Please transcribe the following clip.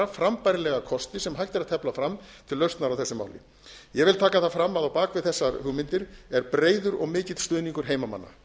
frambærilega kosti sem hægt er að tefla fram til lausnar á þessu máli ég vil taka það fram að á bak við þessar hugmyndir er breiður og mikill stuðningur heimamanna